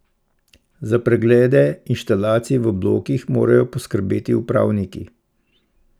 Za preglede inštalacij v blokih morajo poskrbeti upravniki.